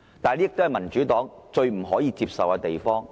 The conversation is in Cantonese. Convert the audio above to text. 這便是民主黨最不可以接受的事情。